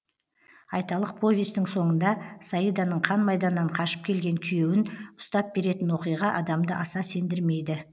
айталық повестің соңында саиданың қан майданнан қашып келген күйеуін ұстап беретін оқиға адамды аса сендірмейді